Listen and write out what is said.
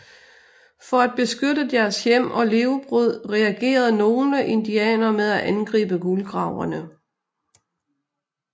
For at beskytte deres hjem og levebrød reagerede nogle indianere med at angribe guldgraverne